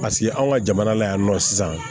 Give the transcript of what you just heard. Paseke anw ka jamana la yan nɔ sisan